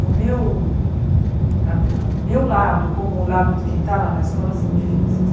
O meu a o meu lado, como o lado de quem está lá na escola, são difíceis.